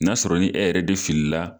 N'a sɔrɔ ni e yɛrɛ de fili la